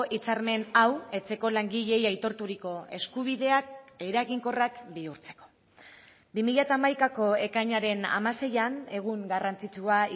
hitzarmen hau etxeko langileei aitorturiko eskubideak eraginkorrak bihurtzeko bi mila hamaikako ekainaren hamaseian egun garrantzitsua